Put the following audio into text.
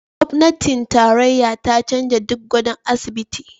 Gwamnatin tarayya ta canza duk gadon asibiti